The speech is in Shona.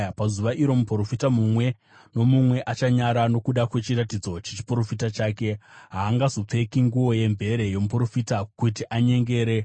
“Pazuva iro muprofita mumwe nomumwe achanyara nokuda kwechiratidzo chechiprofita chake. Haangazopfeki nguo yemvere yomuprofita kuti anyengere.